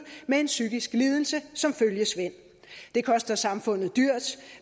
med en psykisk lidelse som følgesvend det koster samfundet dyrt og